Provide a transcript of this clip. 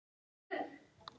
Nándin er ekki eins mikil.